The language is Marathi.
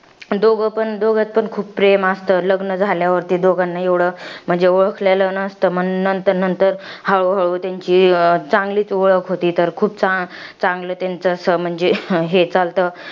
दोघं पण, दोघांत पण खूप प्रेम असतं. लग्न झाल्यावरती दोघांना एवढं म्हणजे ओळखलेलं नसतं. पण नंतर नंतर, हळूहळू त्यांची अं चांगलीच ओळख होते ते खूप चा चांगलं त्याचं असं म्हणजे, हे चालतं.